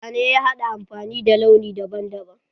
Zane ya haɗa da amfani da launi daban daban.